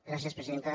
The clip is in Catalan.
gràcies presidenta